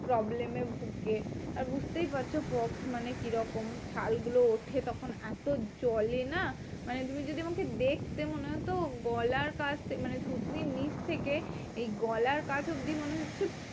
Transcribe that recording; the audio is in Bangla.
Problem এ ভুগে। আর বুঝতেই পারছো pox মানে কি রকম? ছালগুলো ওঠে তখন এত জ্বলে না? মানে তুমি যদি আমাকে দেখতে, মনে হতো গলার কাছ মানে থুতনির নিচ থেকে এই গলার কাছ অব্দি মনে হচ্ছে